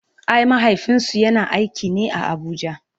ai mahaifinsu yana aiki ne a Abuja